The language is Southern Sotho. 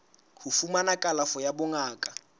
ho fumana kalafo ya bongaka